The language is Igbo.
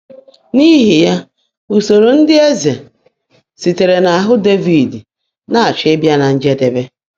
N’ihi ya, usoro ndị eze sitere n'ahụ Devid na-achọ ịbịa na njedebe.